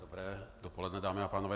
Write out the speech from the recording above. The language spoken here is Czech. Dobré dopoledne, dámy a pánové.